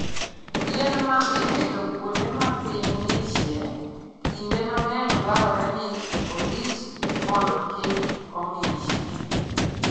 Yien ma ipidho kuonde ma piny ng'ichie, kinde mang'eny dwarore ni orit mondo kik ong'ich.